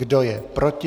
Kdo je proti?